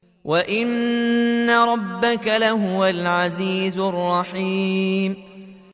وَإِنَّ رَبَّكَ لَهُوَ الْعَزِيزُ الرَّحِيمُ